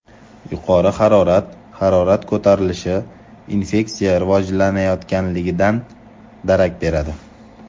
Yuqori harorat Harorat ko‘tarilishi infeksiya rivojlanayotganidan darak beradi.